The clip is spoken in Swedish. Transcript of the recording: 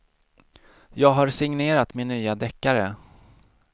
Jag har signerat min nya deckare.